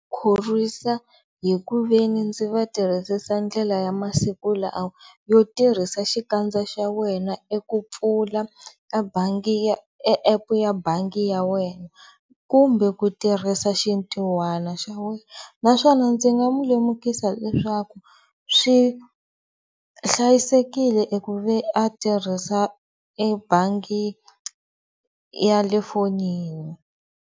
Khorwisa hi ku ve ni ndzi va tirhisisa ndlela ya masiku lawa yo tirhisa xikandza xa wena eku pfula a bangi ya e epu ya bangi ya wena kumbe ku tirhisa xintihwana xa wena naswona ndzi nga mu lemukisa leswaku swi hlayisekile eku ve a tirhisa ebangi ya le fonini.